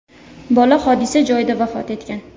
Bola hodisa joyida vafot etgan .